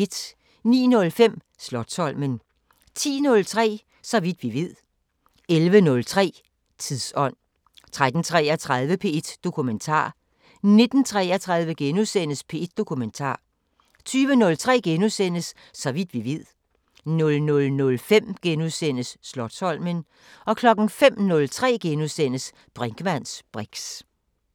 09:05: Slotsholmen 10:03: Så vidt vi ved 11:03: Tidsånd 13:33: P1 Dokumentar 19:33: P1 Dokumentar * 20:03: Så vidt vi ved * 00:05: Slotsholmen * 05:03: Brinkmanns briks *